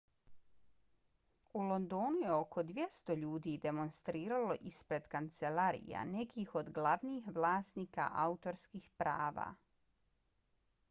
u londonu je oko 200 ljudi demonstriralo ispred kancelarija nekih od glavnih vlasnika autorskih prava